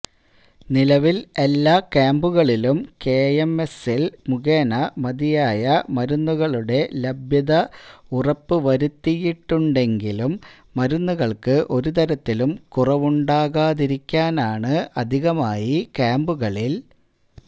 നിലവില് എല്ലാ ക്യാമ്പുകളിലും കെഎംഎസ്സിഎല് മുഖേന മതിയായ മരുന്നുകളുടെ ലഭ്യത ഉറപ്പ് വരുത്തിയിട്ടുണ്ടെങ്കിലും മരുന്നുകള്ക്ക് ഒരുതരത്തിലും കുറവുണ്ടാകാതിരിക്കാനാണ് അധികമായി ക്യാമ്പുകളില്